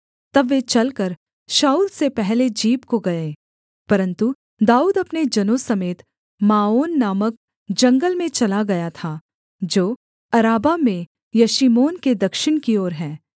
तब वे चलकर शाऊल से पहले जीप को गए परन्तु दाऊद अपने जनों समेत माओन नामक जंगल में चला गया था जो अराबा में यशीमोन के दक्षिण की ओर है